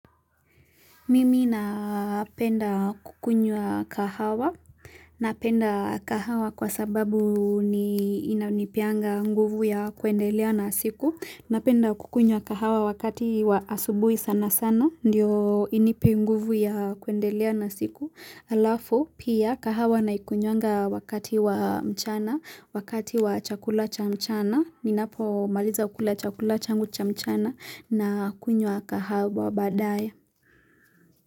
Mimi napenda kukunyua kahawa. Napenda kahawa kwa sababu ni inanipeanga nguvu ya kuendelea na siku. Napenda kukunyua kahawa wakati wa asubui sana sana. Ndiyo inipe nguvu ya kuendelea na siku. Alafu pia kahawa naikunywanga wakati wa mchana. Wakati wa chakulacha mchana. Ninapo maliza kula chakulacha ngu cha mchana na kunyua kahawa wa badaye.